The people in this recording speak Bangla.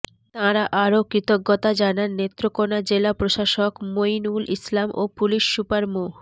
তাঁরা আরো কৃতজ্ঞতা জানান নেত্রকোনা জেলা প্রশাসক মঈনউল ইসলাম ও পুলিশ সুপার মো